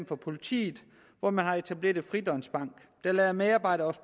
for politiet hvor man har etableret en fridøgnsbank der lader medarbejdere